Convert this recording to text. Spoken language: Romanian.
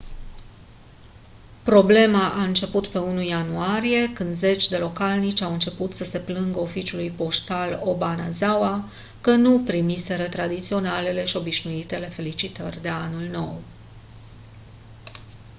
problema a început pe 1 ianuarie când zeci de localnici au început să se plângă oficiului poștal obanazawa că nu primiseră tradiționalele și obișnuitele felicitări de anul nou